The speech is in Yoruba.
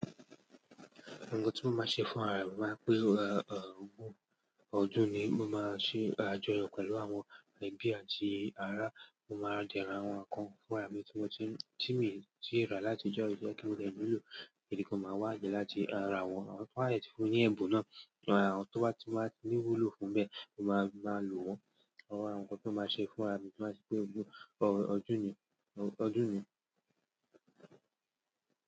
Nǹkan tí mo máa n ṣe fún ara mi to ba je pè ọ, ọ̀ọ́ ọdún ni mo máa ṣe àjọyọ̀ pẹ̀lú àwọn ẹbí àti ará, mo máa dẹ ra àwọn nǹkan fún ara mi tí mo tí, tí mi, tí rà láti ijo yii kí ó de wuló, ìbi kan, máa wà jẹ́ láti ara wọ́n, ti won ba dẹ ti fún un ni ẹ̀bùn náà, àwọn tó bá ti máa ti ni wúlò fún bẹ́ẹ̀, mo máa, máa lò wọ́n. Awọn nǹkan tí ó máa ṣe fún ara mi tí n ba ti ri pé ọdún, ọ, ọdún ni, ọdún ni.